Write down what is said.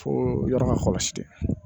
Fo yɔrɔ ka kɔlɔsi dɛ